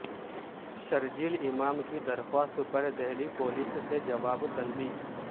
شرجیل امام کی درخواست پر دہلی پولیس سے جواب طلبی